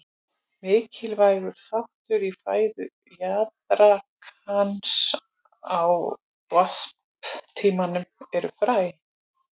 Mikilvægur þáttur í fæðu jaðrakans á varptímanum eru fræ.